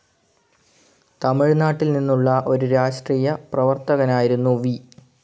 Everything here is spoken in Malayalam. തമിഴ്നാട്ടിൽ നിന്നുള്ള ഒരു രാഷ്ട്രീയ പ്രവർത്തകനായിരുന്നു വി.